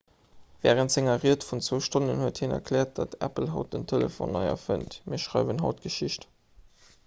wärend senger ried vun 2 stonnen huet hien erkläert datt apple haut den telefon nei erfënnt mir schreiwen haut geschicht